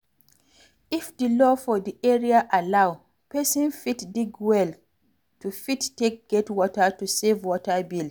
If di law for di area allow, person fit dig well to fit take get water to save water bill